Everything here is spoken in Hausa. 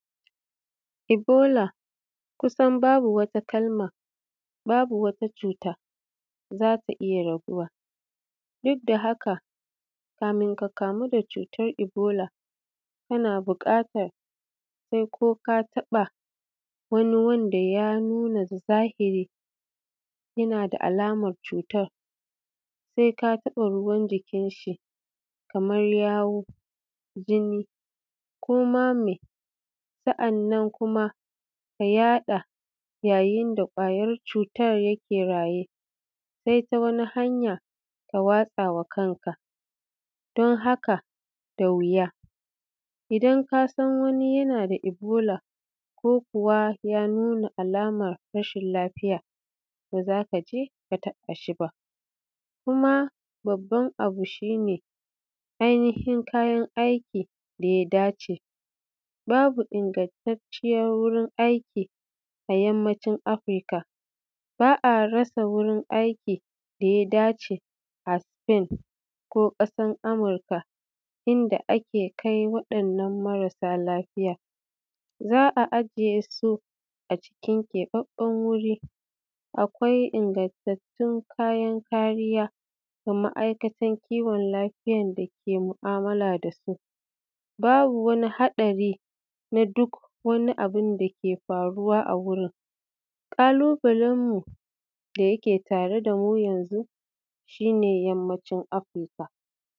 Ibola kusan babu wata kalama babu wata cuta zaka iyya rabuwa, dukda haka kafin ka kamu da wata da cuta ibola kana buƙatan koka taɓa wani wanda ya nuna zahiri ya nada alaman cutan saika taɓa ruwan jikin shi, kamar yamu jini koma me. Sannan kuma ya yaɗa yayin da kwayar cutar yake raye, sai wani hanya ka watsawa kanka. Dan haka da wuya idan kasan wani yanada ibola ko kuwa ya nuna alaman rashin lafiya ba zakaje ka taɓashi ba. Kuma babban abu shine ai nihin kayan aikin daya dace babu ingattaciyar wajen aiki a ƙasashen afirika ba’a rasa wurin aiki daya dace a sufen ko ƙasan Amurka inda ake kai waɗannan marasa lafiya. Za’a ajiye su a keɓattatun wuri akwai ingattatun kayan kariya da ma’aikatan kiwon lafiyan dake mu’amala dasu, babu wani haɗari naduk wani abunda ke faruwa a wurin ƙalubalen mu da yake tare damu yanzu shine yammacin afirika